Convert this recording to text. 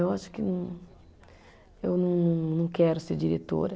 Eu acho que eu não, não quero ser diretora.